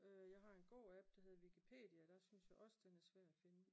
Jeg har en gå app der hedder Wikipedia der synes jeg også den er svær at finde